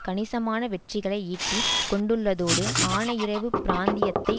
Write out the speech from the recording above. கணிசமான வெற்றிகளை ஈட்டிக் கொண்டுள்ளதோடு ஆனையிறவு பிராந்தியத்தை